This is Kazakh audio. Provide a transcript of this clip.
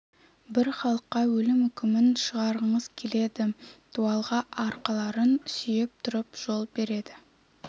бір халыққа өлім үкімін шығарғыңыз келеді дуалға арқаларын сүйеп тұрып жол береді